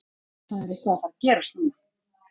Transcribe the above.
Það er eitthvað að fara að gerast núna.